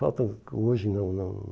Falta hoje não, não.